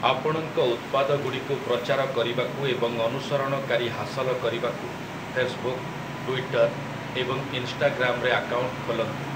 ଆପଣଙ୍କ ଉତ୍ପାଦଗୁଡ଼ିକୁ ପ୍ରଚାର କରିବାକୁ ଏବଂ ଅନୁସରଣକାରୀ ହାସଲ କରିବାକୁ ଫେସ୍‌ବୁକ୍‌, ଟ୍ୱିଟର୍, ଏବଂ ଇନ୍‌ଷ୍ଟାଗ୍ରାମ୍‌ରେ ଆକାଉଣ୍ଟ ଖୋଲନ୍ତୁ ।